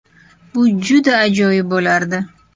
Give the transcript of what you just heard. Bu juda ajoyib bo‘lardi.